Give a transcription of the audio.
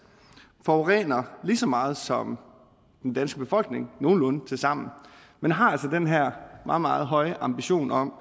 forurener lige så meget som den danske befolkning nogenlunde tilsammen men har altså den her meget meget høje ambition om